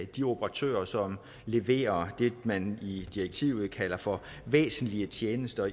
de operatører som leverer det man i direktivet kalder for væsentlige tjenester